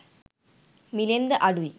මිළෙන් ද අඩුයි.